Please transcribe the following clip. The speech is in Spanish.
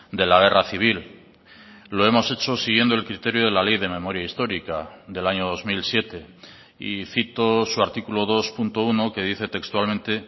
de la guerra civil lo hemos hecho siguiendo el criterio de la ley de memoria histórica del año dos mil siete y cito su artículo dos punto uno que dice textualmente